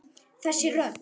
Þessi rödd.